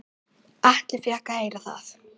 Atli fékk að heyra það.